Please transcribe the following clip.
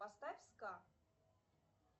поставь ска